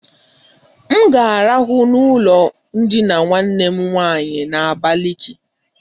M ga arahụ na ụlọ ndina nwanne m nwaanyị na-abaliki.